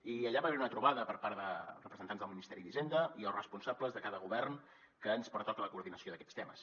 i allà va haver hi una trobada per part de representants del ministeri d’hisenda i els responsables de cada govern que ens pertoca la coordinació d’aquests temes